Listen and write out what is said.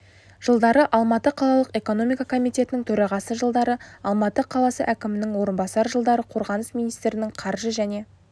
жылдары алматы қалалық экономика комитетінің төрағасы жылдары алматы қаласы әкімінің орынбасары жылдары қорғаныс министрінің қаржы және